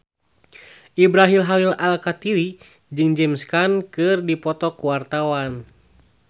Ibrahim Khalil Alkatiri jeung James Caan keur dipoto ku wartawan